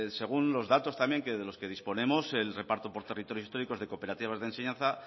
según los datos también de los que disponemos el reparto por territorios históricos de cooperativas de enseñanza